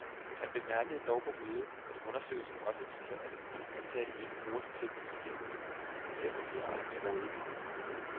Han bemærkede dog på mødet, at undersøgelsen også viser, at en del ansatte ikke bruger de tekniske hjælpemidler, selv om de har dem til rådighed.